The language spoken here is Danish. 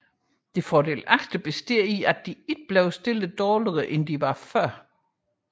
Det fordelagtige består i at de ikke bliver stillet dårligere end de var før